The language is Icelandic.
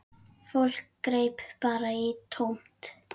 Fólk greip bara í tómt.